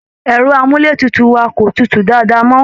Ẹ̀rọ amúleétutù wa kò tutù dáádáa mọ